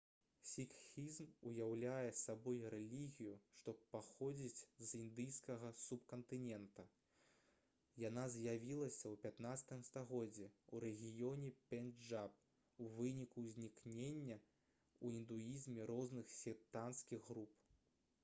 сікхізм уяўляе сабой рэлігію што паходзіць з індыйскага субкантынента яна з'явілася ў 15 стагоддзі ў рэгіёне пенджаб у выніку ўзнікнення ў індуізме розных сектанцкіх груп